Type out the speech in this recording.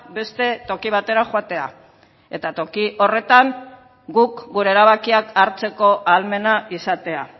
beste toki batera joatea eta toki horretan guk gure erabakiak hartzeko ahalmena izatea